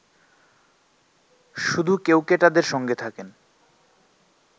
শুধু কেউকেটাদের সঙ্গে থাকেন